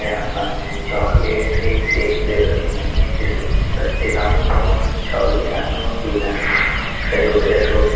यहां पर चॉकलेट एक से एक फ्लेवर के महीने से सस्ते दामों में दोनों ही चॉकलेट यहां पर मौजूद हैं जिसका जो बजट हो उसे--